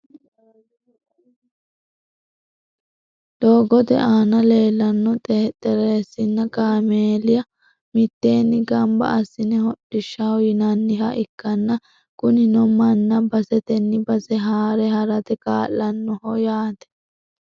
doogote aana leelanno xexerisanna kaameela mitteenni gamba assine hodhishshaho yinanniha ikkanna, kunino manna basetanni base haare harate kaa'lannoho yaate .